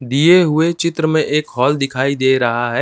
दिए हुए चित्र में एक हॉल दिखाई दे रहा है।